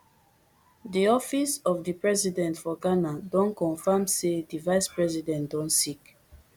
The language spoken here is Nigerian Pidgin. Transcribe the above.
di office of di president for ghana don confam say di vice president don sick